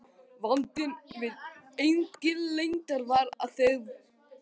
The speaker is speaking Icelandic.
Vandinn við Englendinga var að þeir voru